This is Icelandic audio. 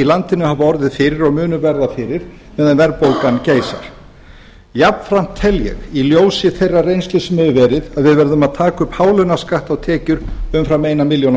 í landinu hafa orðið fyrir og munu verða fyrir meðan verðbólgan geysar jafnframt tel ég í ljósi þeirrar reynslu sem hefur verið að við verðum að taka upp hálaunaskatt á tekjur umfram eina milljón á